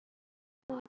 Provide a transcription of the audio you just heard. Gerðu það aftur pabbi!